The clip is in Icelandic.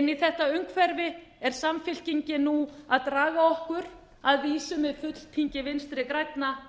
inn í þetta umhverfi er samfylkingin nú að draga okkur að vísu með fulltingi vinstri grænna er það þetta sem við þurfum